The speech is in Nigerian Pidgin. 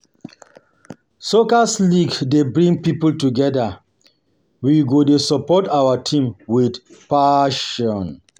Soccer league dey bring people together, we go dey support our teams with passion.